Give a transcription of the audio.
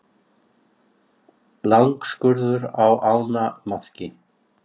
Langskurður á ánamaðki.